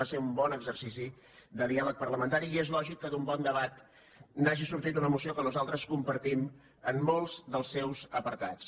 va ser un bon exercici de diàleg parlamentari i és lògic que d’un bon debat n’hagi sortit una moció que nosaltres compartim en molts dels seus apartats